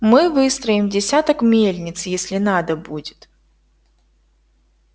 мы выстроим десяток мельниц если надо будет